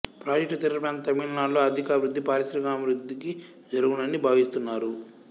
project తీరప్రాంత తమిళ్ నాడులో ఆర్ధికాభివృద్ధి పారిశ్రామిక అభివృద్ధికి జరుగునని భావిస్తున్నారు